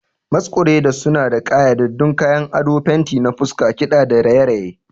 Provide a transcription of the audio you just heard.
Masqueraders suna da ƙayyadaddun kayan ado, fenti na fuska, kiɗa da raye-raye.